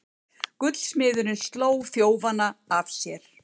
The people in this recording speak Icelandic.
Gullsmiðurinn sló þjófana af sér